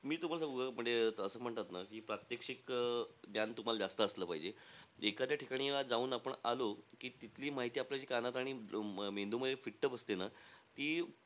मी तुम्हाला सांगू का? म्हणजे असं म्हणतात ना की प्रात्यक्षिक अं ज्ञान तुम्हाला जास्त असलं पाहिजे. एखाद्या ठिकाणी ना जाऊन आपण आलो की, तिथली माहिती आपल्याला जी कानात आणि अं मेंदूमध्ये fit बसते ना ती,